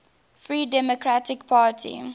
free democratic party